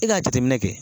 E ka jateminɛ kɛ